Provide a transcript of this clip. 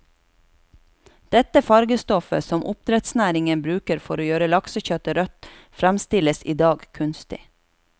Dette farvestoffet, som oppdrettsnæringen bruker for å gjøre laksekjøttet rødt, fremstilles i dag kunstig.